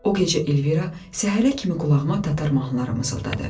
O gecə Elvira səhərə kimi qulağıma tatar mahnılarını mızıldadı.